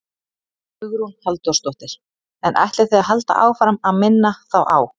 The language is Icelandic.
Hugrún Halldórsdóttir: En ætlið þið að halda áfram að minna þá á?